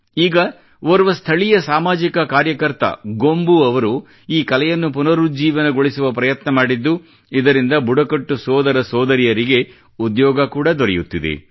ಈಗ ಓರ್ವ ಸ್ಥಳೀಯ ಸಾಮಾಜಿಕ ಕಾರ್ಯಕರ್ತ ಗೊಂಬು ಅವರು ಈ ಕಲೆಯನ್ನು ಪುನರುಜ್ಜೀವನಗೊಳಿಸುವ ಪ್ರಯತ್ನ ಮಾಡಿದ್ದು ಇದರಿಂದ ಬುಡಕಟ್ಟು ಸೋದರಸೋದರಿಯರಿಗೆ ಉದ್ಯೋಗ ಕೂಡಾ ದೊರೆಯುತ್ತಿದೆ